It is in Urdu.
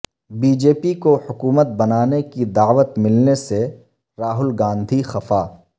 بی جے پی کو حکومت بنانے کی دعوت ملنے سے راہل گاندھی خفا